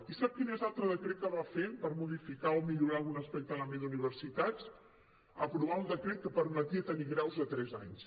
i sap quin és l’altre decret que va fer per modificar o millorar algun aspecte en l’àmbit d’universitats aprovar un decret que permetia tenir graus de tres anys